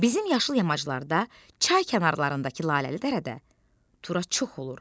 Bizim yaşıl yamaclarda çay kənarlarındakı laləli dərədə turac çox olur.